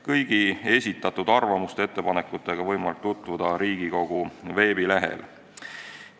Kõigi esitatud arvamuste ja ettepanekutega on võimalik tutvuda Riigikogu veebilehel.